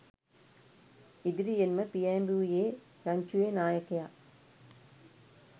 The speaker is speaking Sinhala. ඉදිරියෙන්ම පියෑඹුයේ රංචුවේ නායකයා